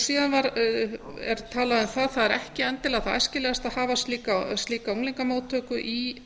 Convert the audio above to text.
síðan er talað um að það er ekki endilega það æskilegasta að hafa slíka unglingamóttöku endilega í